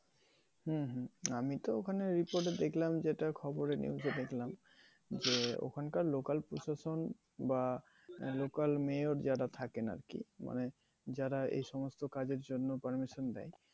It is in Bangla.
হম হম, আমিতো ওখানে report এ দেখছিলাম যেটা খবরের মধ্যে দেখলাম যে ওখানকার লোকাল প্রশাসন বা লোকাল মেয়র যারা থাকেন আর কি মানে যারা এই সমস্ত কাজের জন্য permission দেয়